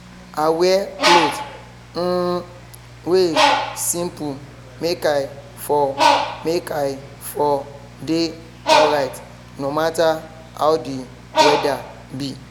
i wear clot um wey simple make i for make i for dey alryt no matter how the whether be